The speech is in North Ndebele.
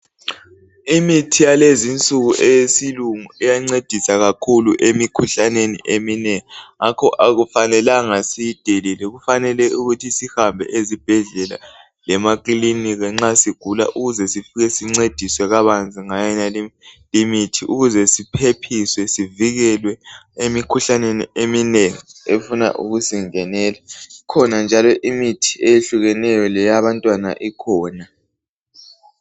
Imithi yalezinsuku eyesilungu iyancedisa kakhulu emikhuhlaneni eminengi ngakho akufanelanga siyidelele kufanele ukuthi sihambe ezibhedlela lemakilinika nxa sigula ukuze sifike sincediswe kabanzi ngayenaleyo imithi ukuze siphephiswe sivikelwe emikhuhlaneni eminengi efuna ukusingenela. Kukhona njalo imithi ehlukeneyo leyabantwana ikhona.